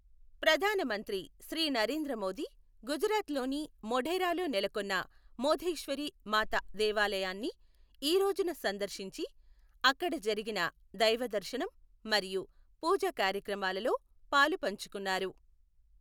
ప్రధాన మంత్రి శ్రీ నరేంద్ర మోదీ గుజరాత్ లోని మొఢేరాలో నెలకొన్న మొధేశ్వరి మాత దేవాలయాన్ని ఈ రోజున సందర్శించి, అక్కడ జరిగిన దైవ దర్శనం మరియు పూజ కార్యక్రమాలలో పాలుపంచుకొన్నారు.